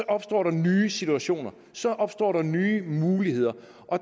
opstår der nye situationer så opstår der nye muligheder